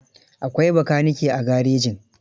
Akwai bakanike a garejin?